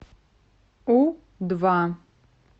у два